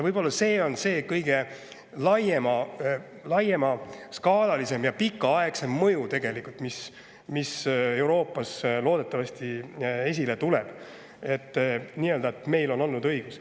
Võib-olla see on see kõige laiema skaalaga ja pikaaegsem mõju, mis Euroopas loodetavasti esile tuleb:, et meil oli õigus.